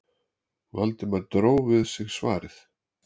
Valdimar dró við sig svarið.